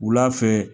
Wula fɛ